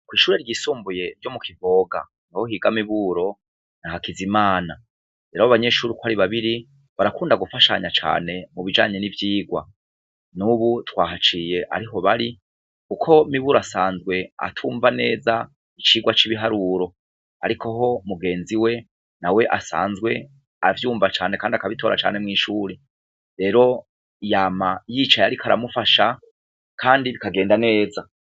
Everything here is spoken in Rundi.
Kw'ishure ryisumbuye ryo mu kivoga na ho higa miburo na hakizimana rero abo banyeshuri uko ari babiri barakunda gufashanya cane mu bijanye n'ivyigwa n'ubu twahaciye ariho bari, kuko miburo asanzwe atumva neza icirwa c'ibiharuro, ariko ho mugenzi we na we asanzwe we avyumva canekandi akabitora cane mw'ishuri rero yama yicaye, ariko aramufasha, kandi bikagenda neza.